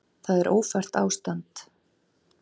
Það er ófært ástand.